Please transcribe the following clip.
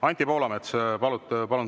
Anti Poolamets, palun!